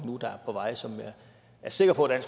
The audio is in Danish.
på vej som jeg er sikker på at